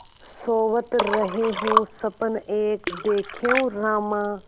सोवत रहेउँ सपन एक देखेउँ रामा